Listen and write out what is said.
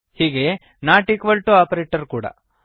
ಹೀಗೆಯೇ not equal to operator ಕೂಡಾ ಇದೆ